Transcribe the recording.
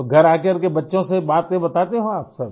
तो घर आ करके बच्चों से बातें बताते हो आप सब